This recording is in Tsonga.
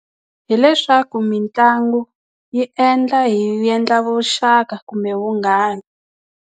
Hi leswaku mitlangu yi endla hi endla vuxaka kumbe vunghana.